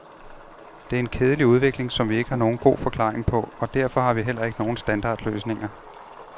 Det er en kedelig udvikling, som vi ikke har nogen god forklaring på, og derfor har vi heller ikke nogen standardløsninger.